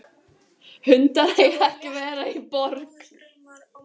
Hundar eiga ekki að vera í borg.